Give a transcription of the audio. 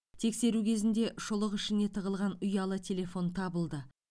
тексеру кезінде шұлық ішіне тығылған ұялы телефон табылды